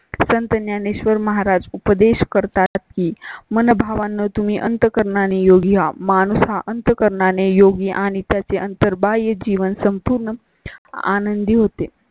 संत ज्ञानेश्वर महाराज उपदेश करतात की मन भावना तुम्ही अंत करणाने योगी या माणसा अंत करणाने योगी आणि त्याचे अंतर बाय जीवन संपूर्ण. आनंदी होते